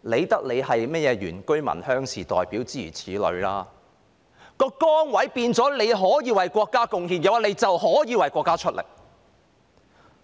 那管你是甚麼原居民或鄉士代表，當崗位變成可以為國家貢獻時，你便可以為國家出力。